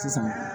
Sisan